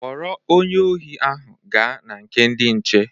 Kpọrọ onye ohi ahụ gaa na nke ndị nche.